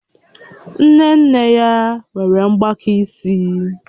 Nne nne ya nwere mgbaka isi